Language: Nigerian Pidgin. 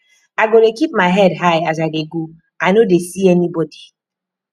i go dey keep my head high as i dey go i no dey see anybodi